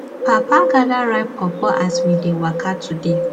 papa gather ripe pawpaw as we dey waka today